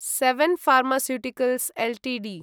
seven Pharmaceuticals Ltd